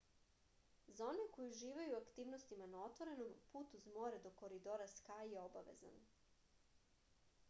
za one koji uživaju u aktivnostima na otvorenom put uz more do koridora skaj je obavezan